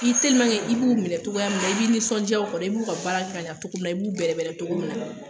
i b'u minɛ cogoya minna, i b'i nisɔndiya u kɔrɔ, i b'u ka baara kɛ ka ɲan cogo cogo min na, i b'u bɛrɛbɛrɛ.